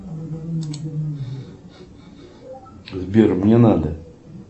сбер мне надо